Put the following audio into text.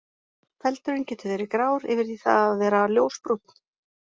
Feldurinn getur verið grár yfir í það að vera ljósbrúnn.